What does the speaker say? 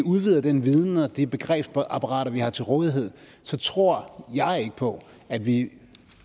udvider den viden og de begrebsapparater vi har til rådighed så tror jeg ikke på at vi